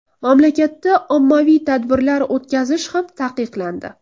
Mamlakatda ommaviy tadbirlar o‘tkazish ham taqiqlandi.